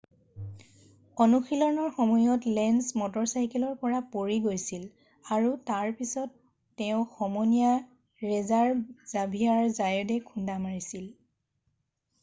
অনুশীলনৰ সময়ত লেঞ্জ মটৰচাইকেলৰ পৰা পৰি গৈছিল আৰু তাৰ পিছত তেওঁক সমনীয়া ৰেছাৰ জাভিয়াৰ জায়তে খুন্দা মাৰিছিল